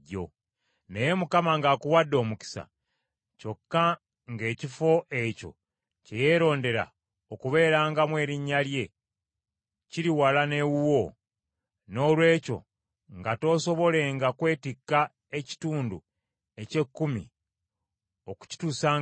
Naye Mukama ng’akuwadde omukisa, kyokka ng’ekifo ekyo kye yeerondera okubeerangamu Erinnya lye kiri wala n’ewuwo, noolwekyo nga toosobolenga kwetikka ekitundu eky’ekkumi okukituusangayo,